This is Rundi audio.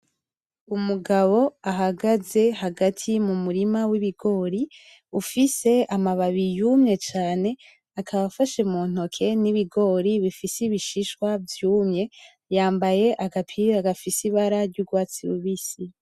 Umugabo ahagaze hagati mumurima wibigori ufise amababi yumye cane akaba afashe muntoke nibigori bifise ibishishwa vyumye yambaye agapira gafise ibara ryurwatsi rubisi.